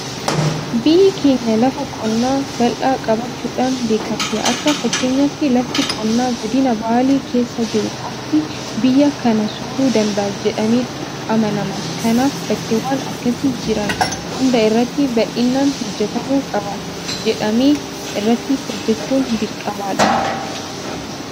Biyyi keenya lafa qonnaa bal'aa qabaachuudhaan beekamti. Akka fakkeenyaatti lafti qonnaa godina Baalee keessa jiru qofti biyya kana sooruu danda'a jedhameetu amanama. Kanaaf bakkeewwan akkasii jiran hunda irratti bal'inaan hojjetamuu qaba jedhamamee irratti hojjechuun dirqamadha.